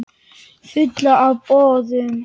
Fulla af boðum.